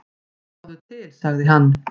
"""Sjáðu til, sagði hann."""